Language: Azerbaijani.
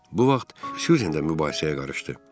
Bu vaxt Syuzen də mübahisəyə qarışdı.